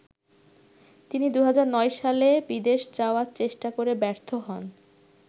তিনি ২০০৯ সালে বিদেশ যাওয়ার চেষ্টা করে ব্যর্থ হন।